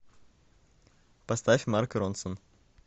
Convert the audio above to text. поставь марк ронсон